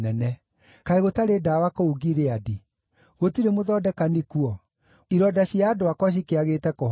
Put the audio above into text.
Kaĩ gũtarĩ ndawa kũu Gileadi? Gũtirĩ mũthondekani kuo? Ironda cia andũ akwa cikĩagĩte kũhona nĩkĩ?